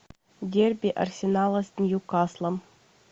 дерби арсенала с ньюкаслом